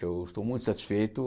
Eu estou muito satisfeito.